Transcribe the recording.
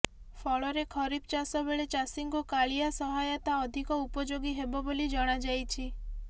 ଫଳରେ ଖରିଫ ଚାଷବେଳେ ଚାଷୀଙ୍କୁ କାଳିଆ ସହାୟତା ଅଧିକ ଉପଯୋଗୀ ହେବ ବୋଲି ଜଣାଯାଇଛି